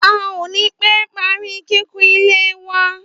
À ò ní pé parí kíkun ilé wa